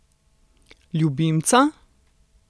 Ljubimca?